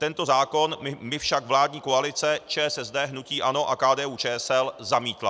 Tento zákon mi však vládní koalice ČSSD, hnutí ANO a KDU-ČSL zamítla.